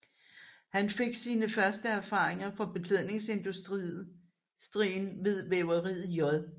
Han fik sine første erfaringer fra beklædningsindustrien ved væveriet J